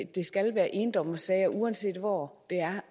det skal være endommersager uanset hvor det er